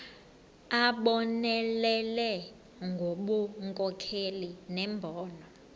abonelele ngobunkokheli nembono